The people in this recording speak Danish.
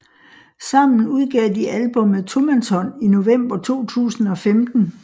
Sammen udgav de albummet Tomandshånd i november 2015